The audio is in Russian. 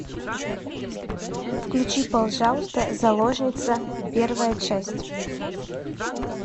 включи пожалуйста заложница первая часть